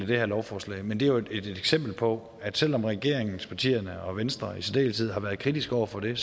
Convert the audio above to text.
det her lovforslag men det er et eksempel på at selv om regeringspartierne og venstre i særdeleshed har været kritiske over for det